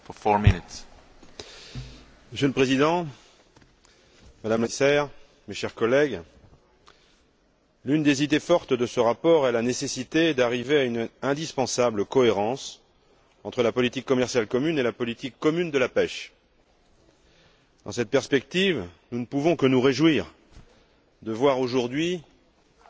Monsieur le Président, Madame la Commissaire, Monsieur le Commissaire, mes chers collègues, l'une des idées fortes de ce rapport est la nécessité d'arriver à une indispensable cohérence entre la politique commerciale commune et la politique commune de la pêche. Dans cette perspective, nous ne pouvons que nous réjouir de voir aujourd'hui, réunis sur le banc de la Commission,